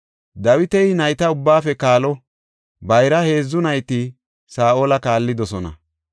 Dawiti nayta ubbaafe kaalo; bayra heedzu nayti Saa7ola kaallidosona.